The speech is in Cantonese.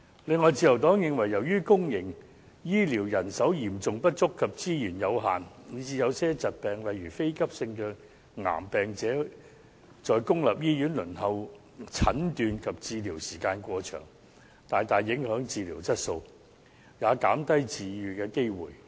此外，自由黨認為由於公營醫療人手嚴重不足及資源有限，以致有些疾病，例如非急性的癌症患者在公立醫院輪候診斷及治療時間過長，大大影響治療質素，也減低治癒機會。